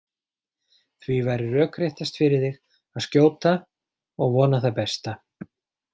Því væri rökréttast fyrir þig að skjóta og vona það besta.